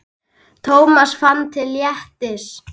Thomas fann til léttis.